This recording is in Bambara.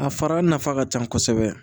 A fara nafa ka ca kosɛbɛ